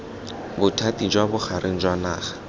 bothati jwa bogareng jwa naga